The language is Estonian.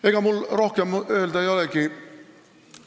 Ega mul rohkem ei olegi öelda.